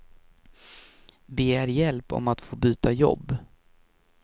Begär hjälp om att få byta jobb.